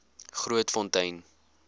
grootfontein